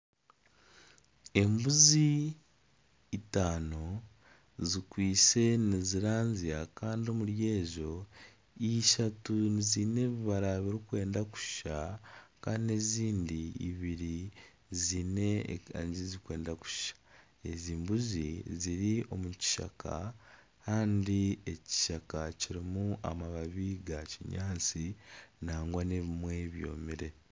Embuzi itaano zikwaitse nizirazya kandi omuri ezo ishatu ziine ebibaara birikwenda kushushana kandi ezindi ibiri ziine erangi zirikwenda kushushana, ezi mbuzi ziri omu kishaka kandi ekishaka kirimu amabaabi ga kinyaatsi nagwa n'ebimwe byomire.